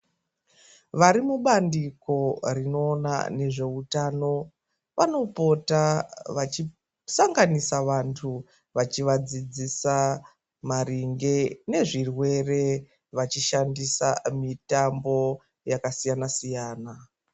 Varimubandiko rinoona nezveutano vanopota vachisanganisa vantu vachivadzidzisa maringe nezvirwere vachishandisa mitambo yakasiyana siyana.